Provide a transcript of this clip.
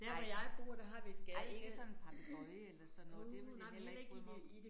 Nej nej ikke sådan en papegøje eller sådan noget det ville jeg heller ikke bryde mig om